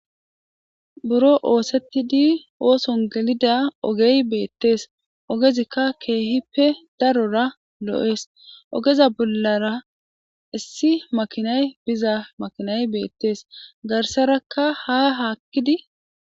buro oosettidi ooson gelida ogey beettees ogezikka keehippe darora lo7ees ogeza bollara issi makinay biza makinay beettees garsarakka ha haakkidi